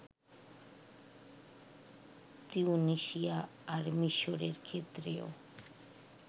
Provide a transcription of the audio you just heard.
তিউনিসিয়া আর মিসরের ক্ষেত্রেও